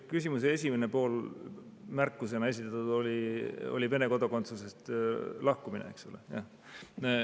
See küsimuse esimene pool, märkusena esitatud, oli Vene kodakondsusest lahkumine, eks ole?